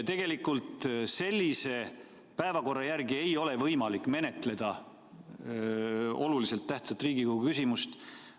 Tegelikult sellise päevakorra järgi ei ole võimalik menetleda olulise tähtsusega riiklikku küsimust.